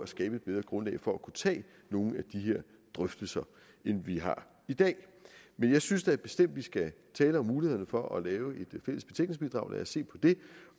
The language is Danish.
skabe et bedre grundlag for at kunne tage nogle af de her drøftelser end vi har i dag men jeg synes da bestemt at vi skal tale om mulighederne for at lave et fælles betænkningsbidrag lad os se på det